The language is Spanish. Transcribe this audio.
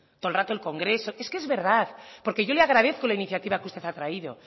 todo el rato el congreso es que es verdad porque yo le agradezco la iniciativa que usted ha traído